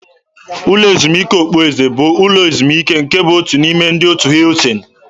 Ụlọ ezumike okpueze bụ ụlọ ezumike nke bụ otu n'ime ndị otu Hiltin.